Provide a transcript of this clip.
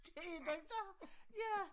Den den dér ja